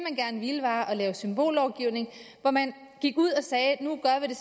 gerne ville var at lave symbollovgivning hvor man gik ud og sagde